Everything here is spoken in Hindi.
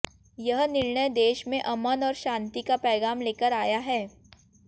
यह निर्णय देश में अमन और शांति का पैगाम लेकर आया है